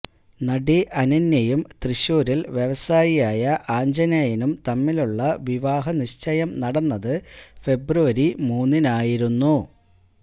നടി അനന്യയും തൃശൂരില് വ്യവസായിയായ ആഞ്ജനേയനും തമ്മിലുള്ള വിവാഹനിശ്ചയം നടന്നത് ഫെബ്രുവരി മൂന്നിനായിരുന്നു